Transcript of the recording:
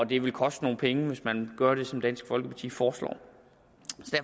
det vil koste nogle penge at gøre det som dansk folkeparti foreslår